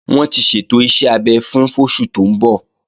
Wọ́n ti ṣètò iṣẹ́ abẹ fún fóṣù tó ń bọ̀